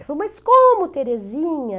Eu falei, mas como, Terezinha?